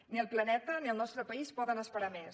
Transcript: ni el planeta ni el nostre país poden esperar més